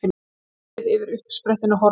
Skýið yfir uppsprettunni horfið.